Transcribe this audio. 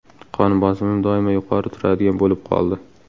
Qon bosimim doim yuqori turadigan bo‘lib qoldi.